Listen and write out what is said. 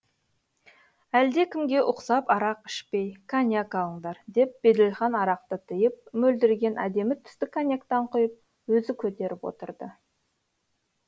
әлдекімге ұқсап арақ ішпей коньяк алыңдар деп беделхан арақты тыйып мөлдіреген әдемі түсті коньяктан құйып өзі көтеріп отырды